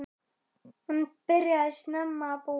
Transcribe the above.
Hann byrjaði snemma að búa.